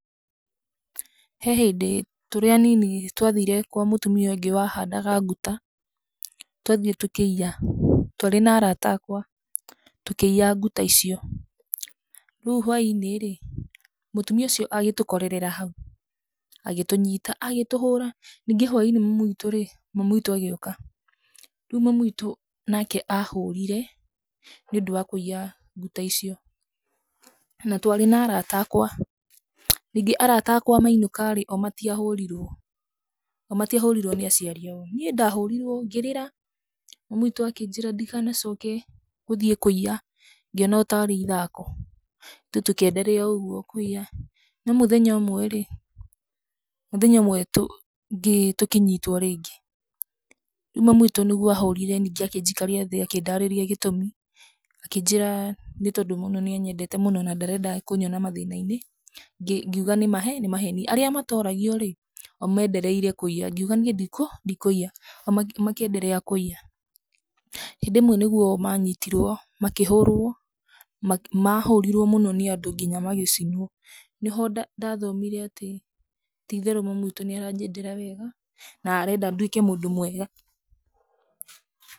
He hĩndĩ tũrĩ a nini twathire kwa mũtũmia ũngĩ wahandaga nguta, twathiĩ tũkĩiya, twarĩ na arata akwa, tũkĩiya nguta icio, rĩu hwainĩrĩ, mũtũmia ũcio agĩtũkorera hau, agĩtũnyita agĩtũhora, nyingĩ hwainĩ mami witũĩ, mami witũ agĩũka, rĩũ mami wĩtũ nake ahũrire nĩ ũndũ wa kwĩiya nguta icio, na twarĩ na arata akwa, ningĩ arata akwa mainũkarĩ, o matiahorirwo, o matiahorirwo nĩ aciari ao, niĩ ndahũrirwo ngĩrĩra, mami witũ akĩnjĩra ndikanacoke gũthiĩ kũiya, ngĩona o tarĩ ithako, ithuĩ tũkĩ enderea ũgwo kũiya, no mũthenya ũmwerĩ, mũthenya ũmwe tũ ngĩ tũkĩnyitwo rĩngĩ, rĩu mami witũ nĩ guo ahũrire nyingĩ akĩnjikaria thĩ, akĩndarĩria gĩtũmi, akĩnjĩra nĩ tondũ mũno nĩ anyendete mũno na ndarenda kũnyona mathĩna -inĩ, ngĩ ngĩuga nĩ, nĩ maheni, arĩa matoragioĩ, o mendereire kwĩiya, ngiuga niĩ ndi ndikwĩya, o makĩ enderea kwĩya, hĩndĩ ĩmwe nĩ guo manyitirwo ma kĩhoruo ma, mahũrirwo mũno nĩ andũ nginya magĩcinwo, nĩ ho nda ndathomire atĩ ,titherũ mami witũ nĩ aranyendera wega, na arenda ndwĩke mũndũ mwega